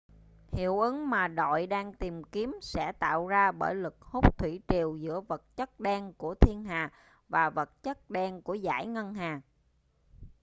hiệu ứng mà đội đang tìm kiếm sẽ tạo ra bởi lực hút thủy triều giữa vật chất đen của thiên hà và vật chất đen của dải ngân hà